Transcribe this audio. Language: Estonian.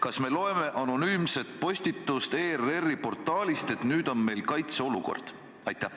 Kas me loeme anonüümset postitust ERR-i portaalist, et nüüd on meil kaitseolukord?